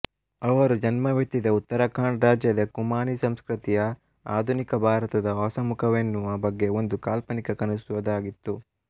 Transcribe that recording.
ಅವರು ಜನ್ಮವೆತ್ತಿದ ಉತ್ತರಾಖಂಡ್ ರಾಜ್ಯದ ಕುಮಾನಿ ಸಂಸ್ಕೃತಿಯ ಆಧುನಿಕಭಾರತದ ಹೊಸಮುಖವೆನ್ನುವ ಬಗ್ಗೆ ಒಂದು ಕಾಲ್ಪನಿಕ ಕನಸು ಅದಾಗಿತ್ತು